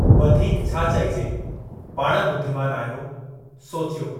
वधीक छा चइजे, पाण ॿुद्धीमान आहियो, सोचियो।